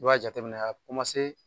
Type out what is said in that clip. N'u y'a jateminɛ